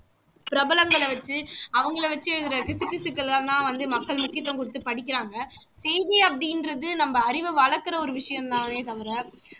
பிரபலங்களை வச்சு அவங்கள வச்சு எழுதற கிசுகிசுக்கள் எல்லாம் தான் வந்து மக்கள் முக்கியத்துவம் குடுத்து படிக்கிறாங்க செய்தி அப்படின்றது நம்ம அறிவை வளர்க்குற ஒரு விஷயம் தானே தவிர